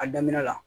A daminɛ la